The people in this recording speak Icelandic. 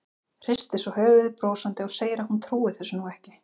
Hristir svo höfuðið brosandi og segir að hún trúi þessu nú ekki.